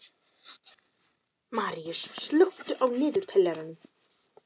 Maríus, slökktu á niðurteljaranum.